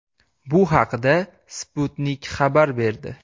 Bu haqda Sputnik xabar berdi.